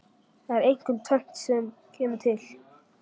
Það er einkum tvennt sem kemur til.